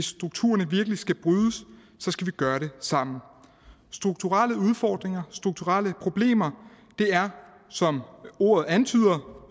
strukturerne virkelig skal brydes så skal vi gøre det sammen strukturelle udfordringer strukturelle problemer er som ordet antyder